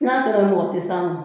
N'a tora mɔgɔ tɛ se a ma